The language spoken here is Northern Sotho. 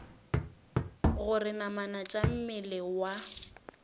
gore namana tša mmele wa